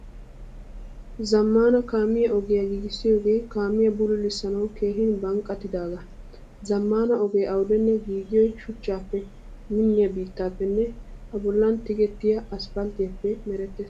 Zamaana kaamiyaa ogiyaa giigisiyoge kaamiyaa bululisanawu keehin banqqattidaga. Zamaana ogee awudenne giigiyoy shuchchappe minniya biittappene a bollan tigettiya asppaltiyappe merettees.